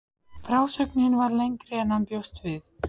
En hann hafði ráðið aðra einnig.